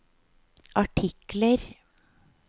artikler